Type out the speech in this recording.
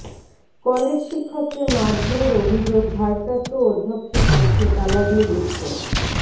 কলেজশিক্ষককে মারধরের অভিযোগ ভারপ্রাপ্ত অধ্যক্ষের কক্ষে তালা দিয়ে বিক্ষোভ